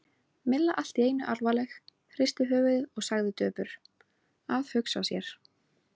Milla allt í einu alvarleg, hristi höfuðið og sagði döpur: Að hugsa sér.